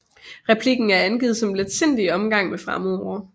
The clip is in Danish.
Replikken er angivet som letsindig omgang med fremmedord